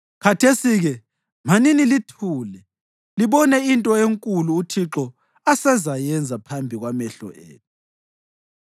Khathesi-ke manini lithule libone into enkulu uThixo asezayenza phambi kwamehlo enu!